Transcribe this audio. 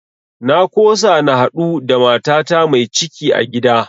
Na kosa na haɗu da matata mai ciki a gida